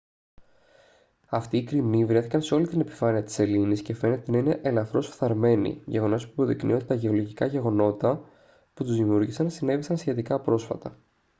αυτοί οι κρημνοί βρέθηκαν σε όλη την επιφάνεια της σελήνης και φαίνεται να είναι ελαφρώς φθαρμένοι γεγονός που υποδεικνύει ότι τα γεωλογικά γεγονότα που τους δημιούργησαν συνέβησαν σχετικά πρόσφατα